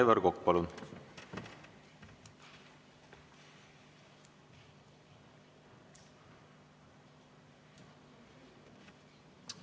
Aivar Kokk, palun!